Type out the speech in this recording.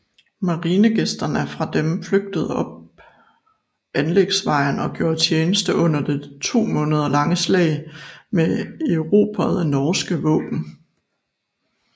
Marinegasterne fra dem flygtede op anlægsvejen og gjorde tjeneste under det to måneder lange slag med erobrede norske våben